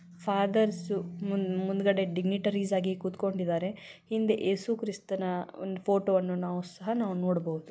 Fathers ಮುಂದೇಗದೆ dignitaries ಆಗಿ ಕುತ್ಕೊಂಡಿದ್ದಾರೆ ಹಿಂದೆ ಯೇಸು ಕ್ರಿಸ್ಥಾನ ಒಂದು ಫೋಟೋ ಅನ್ನು ನಾವು ಸಹ ನೋಡಬಹುದು.